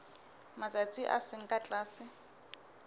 matsatsi a seng ka tlase